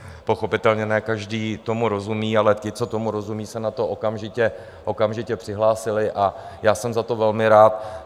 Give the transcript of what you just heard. Pochopitelně ne každý tomu rozumí, ale ti, co tomu rozumí, se na to okamžitě přihlásili a já jsem za to velmi rád.